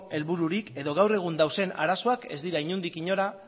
helbururik edo gaur egun dauden arazoak ez dira inondik inora